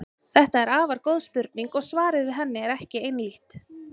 Þetta er afar góð spurning og svarið við henni er ekki einhlítt.